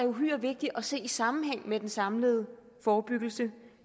uhyre vigtig at se i sammenhæng med den samlede forebyggelse